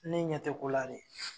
Ne ɲɛ tɛ kola de.